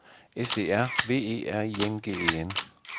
S E R V E R I N G E N